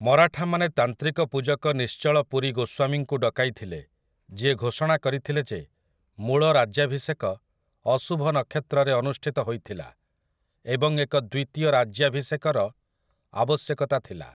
ମରାଠାମାନେ ତାନ୍ତ୍ରିକ ପୂଜକ ନିଶ୍ଚଳ ପୁରୀ ଗୋସ୍ୱାମୀଙ୍କୁ ଡକାଇଥିଲେ, ଯିଏ ଘୋଷଣା କରିଥିଲେ ଯେ ମୂଳ ରାଜ୍ୟାଭିଷେକ ଅଶୁଭ ନକ୍ଷତ୍ରରେ ଅନୁଷ୍ଠିତ ହୋଇଥିଲା ଏବଂ ଏକ ଦ୍ୱିତୀୟ ରାଜ୍ୟାଭିଷେକର ଆବଶ୍ୟକତା ଥିଲା ।